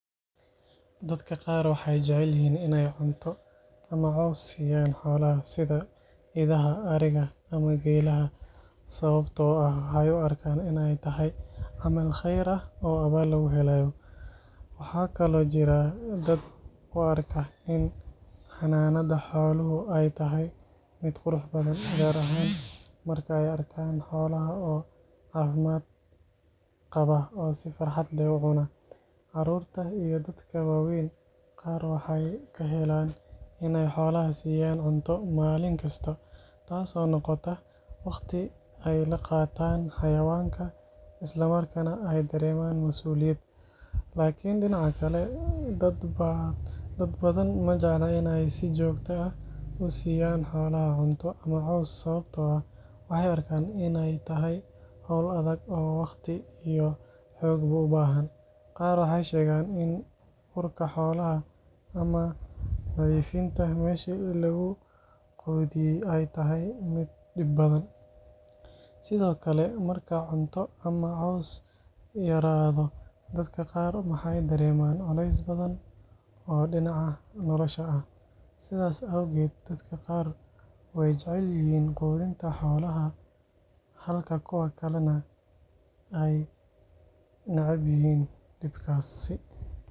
Dadka qar waxee jecelihin in ee cunto ama cos siyan xolaha sitha idaha ariga ama gelaha, waxaa kalo jira dad u arko in xananada xolaha miid qurux badan, tas oo noqota dad badan majeclan in si jogto ah usiyan cunto ama cos sawabto ah maxee arkan in ee tahay xol adhag oo xog ubahan, sithokale marka cunto ama cos yaradho dadka qar maxee dareman cules badan halka kuwa kalana ee nacabyihin.